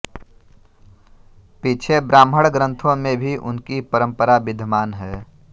पीछे ब्राह्मण ग्रंथों में भी उनकी परंपरा विद्यमान है